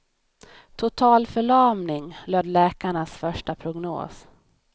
Totalförlamning, löd läkarnas första prognos.